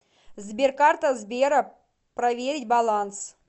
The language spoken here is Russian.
сбер карта сбера проверить баланс